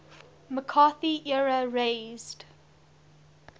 mccarthy era raised